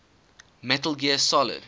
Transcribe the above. metal gear solid